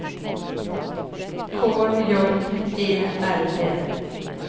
K J E L D